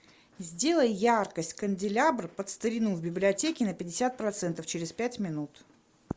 сделай яркость канделябр под старину в библиотеке на пятьдесят процентов через пять минут